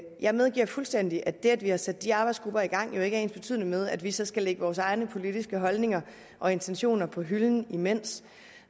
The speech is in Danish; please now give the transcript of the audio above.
jeg medgiver fuldstændig at det at vi har sat de arbejdsgrupper i gang jo ikke er ensbetydende med at vi så skal lægge vores egne politiske holdninger og intentioner på hylden imens